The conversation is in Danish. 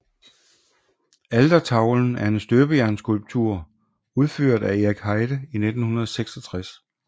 Altertavlen er en støbejernsskulptur udført af Erik Heide i 1966